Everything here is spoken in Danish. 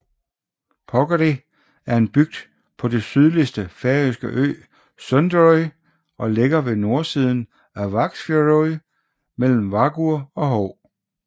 Porkeri er en bygd på den sydligste færøske ø Suðuroy og ligger ved nordøstsiden af Vágsfjørður mellem Vágur og Hov